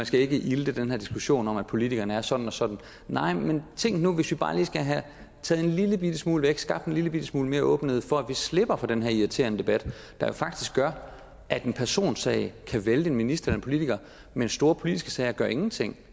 skal ilte den her diskussion om at politikerne er sådan og sådan nej men tænk nu hvis vi bare lige skal have taget en lillebitte smule væk skabt en lillebitte smule mere åbenhed for at vi slipper for den her irriterende debat der jo faktisk gør at en personsag kan vælte en minister eller en politiker mens store politiske sager ingenting